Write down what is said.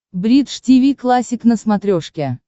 бридж тиви классик на смотрешке